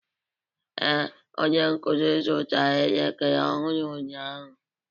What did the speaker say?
Ee, onye nkuzi zụtara elekere ọhụrụ ụnyaahụ.